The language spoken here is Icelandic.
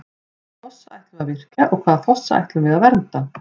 Hvaða fossa ætlum við að virkja og hvaða fossa ætlum við að vernda?